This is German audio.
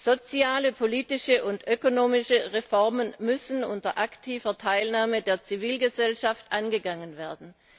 Soziale, politische und ökonomische Reformen müssen unter aktiver Teilnahme der Zivilgesellschaft angegangen werden.